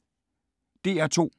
DR P2